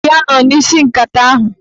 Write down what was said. Ọ bụ ya nọ n'isi nkata ahụ